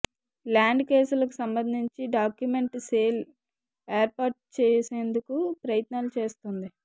land కేసులకు సంబంధించి document cell ఏర్పాటు చేసేందుకు ప్రయత్నాలు చేస్తోంది